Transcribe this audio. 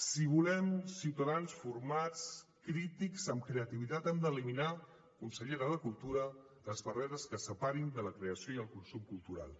si volem ciutadans formats crítics amb creativitat hem d’eliminar consellera de cultura les barreres que separin de la creació i el consum cultural